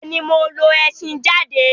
Bẹ́ẹ̀̀ ni, mo lo ẹṣhin jáde.